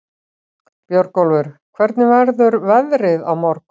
Björnólfur, hvernig verður veðrið á morgun?